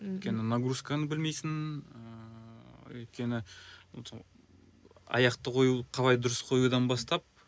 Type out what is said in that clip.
мхм өйткені нагрузканы білмейсің ыыы өйткені аяқты қою қалай дұрыс қоюдан бастап